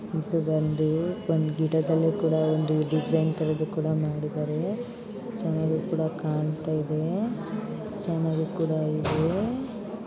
ಇದು ಬಂದು ಒಂದ್ ಗಿಡದಲ್ಲಿಕೂಡ ಒಂದು ಡಿಸೈನ್ತರ ಕೂಡ ಮಾಡಿದರೆ ಚೆನ್ನಾಗಿ ಕೂಡ ಕಾಣ್ತಾ ಇದೆ ಚೆನ್ನಾಗಿ ಕೂಡ ಇದೆ.